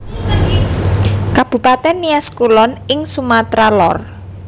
Kabupatèn Nias Kulon ing Sumatra Lor